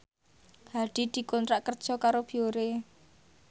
Hadi dikontrak kerja karo Biore